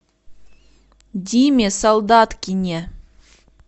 диме солдаткине